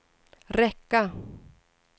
räcka